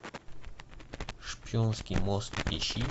шпионский мост ищи